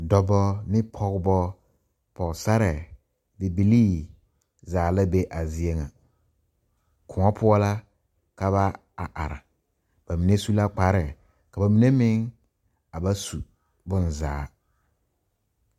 Dɔba ne pɔgeba Pɔgesare bibilii zaa la be a zie ŋa koɔ poɔ la ka ba a are ba mine su la kpare ka ba mine meŋ a ba su bonzaa.